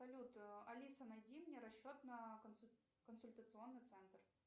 салют алиса найди мне расчет на консультационный цент